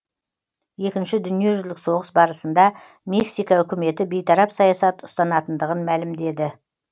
екінші дүниежүзілік соғыс барысында мексика үкіметі бейтарап саясат ұстанатындығын мәлімдеді